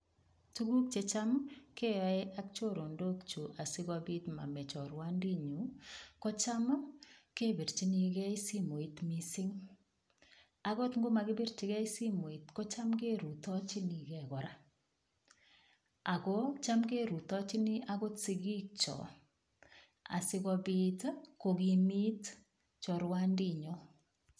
Tukuk checham keyoe ak chorondok chu asikobit mame chorwandinyu ko cham kepirchinigei simoit mising' akot ngomakipirchigei simoit kocham kerutochinigei kora ako cham kerutochini akot sikikcho asikobit kokimit chorwandinyo